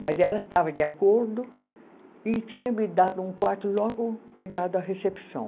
Mas ela estava de acordo e tinha me dado um quarto logo pegado à recepção.